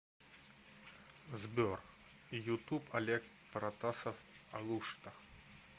сбер ютуб олег протасов алушта